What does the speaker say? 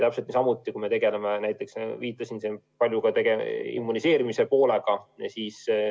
Täpselt niisamuti on, kui me tegeleme, nagu ma viitasin praegu, immuniseerimise poolega.